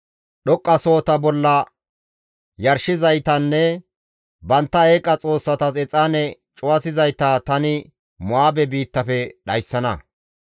Dhoqqasohota bolla yarshizaytanne bantta eeqa xoossatas exaane cuwasizayta tani Mo7aabe biittafe dhayssana.